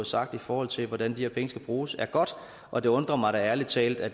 sagt i forhold til hvordan de her penge skal bruges er godt og det undrer mig da ærlig talt at